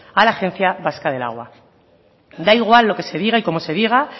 a la agencia vasca del agua da igual lo que se diga y como se diga